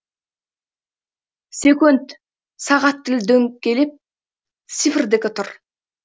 секөнт сағат тілі дөңгелеп цифрдікі тұр